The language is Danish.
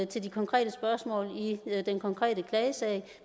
til de konkrete spørgsmål i den konkrete klagesag